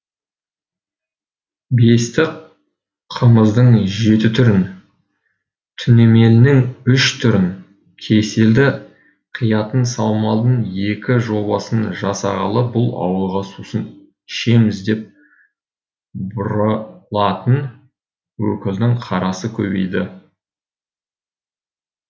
бесті қымыздың жеті түрін түнемелінің үш түрін кеселді қиятын саумалдың екі жобасын жасағалы бұл ауылға сусын ішеміз деп бұрылатын өкілдің қарасы көбейді